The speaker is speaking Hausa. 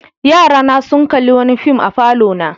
Yarana sun kalli wani fim a falona.